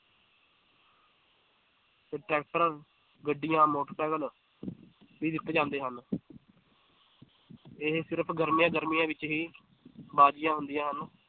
ਤੇ ਟਰੈਕਟਰ ਗੱਡੀਆਂ motorcycle ਵੀ ਦਿੱਤੇ ਜਾਂਦੇ ਹਨ ਇਹ ਸਿਰਫ਼ ਗਰਮੀਆਂ ਗਰਮੀਆਂ ਵਿੱਚ ਹੀ ਬਾਜੀਆਂ ਹੁੰਦੀਆਂ ਹਨ।